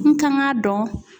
N kan ka dɔn